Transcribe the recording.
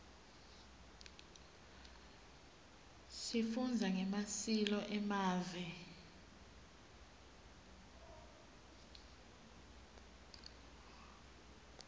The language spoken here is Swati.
sifundza ngemasileo emave